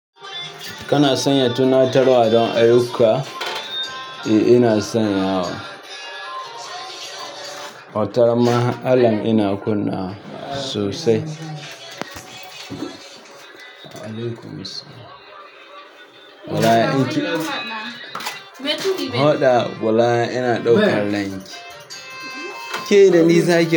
Kana sanya tuna tarwa ɗon ayyuka? Eh ina sanya wa. Wataran ma ha alam ina kunna wa sosai. Wa'alaikumussalam wallahi. Aiki haɗa wallahi ina ɗaukan ranki. Ke dani zakii?